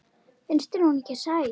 Finnst þér hún ekki sæt?